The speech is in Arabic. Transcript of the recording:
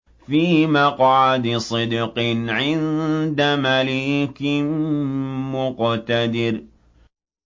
فِي مَقْعَدِ صِدْقٍ عِندَ مَلِيكٍ مُّقْتَدِرٍ